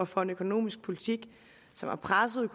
for en økonomisk politik som har presset